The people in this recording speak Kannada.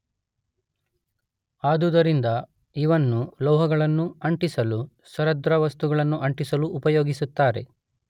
ಆದುದರಿಂದ ಇವನ್ನು ಲೋಹಗಳನ್ನು ಅಂಟಿಸಲೂ ಸರಂಧ್ರವಸ್ತುಗಳನ್ನು ಅಂಟಿಸಲೂ ಉಪಯೋಗಿಸುತ್ತಾರೆ.